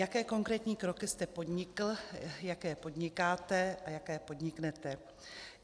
Jaké konkrétní kroky jste podnikl, jaké podnikáte a jaké podniknete?